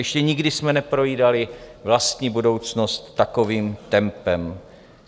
Ještě nikdy jsme neprojídali vlastní budoucnost takovým tempem.